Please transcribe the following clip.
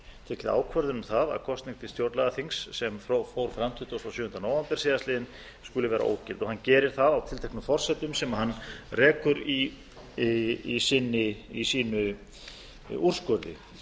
tekið ákvörðun um það að kosning til stjórnlagaþing sem fór fram tuttugasta og sjöunda nóvember síðastliðinn skuli vera ógild hann gerir það á tilteknum forsendum sem hann rekur í sínum úrskurði